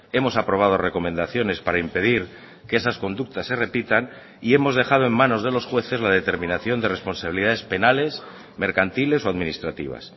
hemos aprobado recomendaciones para impedir que esas conductas se repitan y hemos dejado en manos de los jueces la determinación de responsabilidades penales mercantiles o administrativas